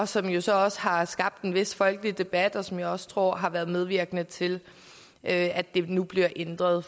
som jo så også har skabt en vis folkelig debat og som jeg også tror har været medvirkende til at at det nu bliver ændret